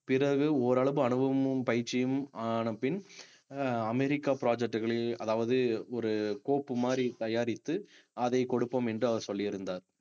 பிறகு ஓரளவு அனுபவமும் பயிற்சியும் ஆன பின் அஹ் அமெரிக்கா project களில் அதாவது ஒரு கோப்பு மாதிரி தயாரித்து அதை கொடுப்போம் என்று அவர் சொல்லியிருந்தார்